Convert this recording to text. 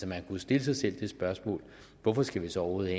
man kunne stille sig selv det spørgsmål hvorfor skal vi så overhovedet